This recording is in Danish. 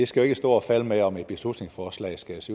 skal stå og falde med om et beslutningsforslag skæres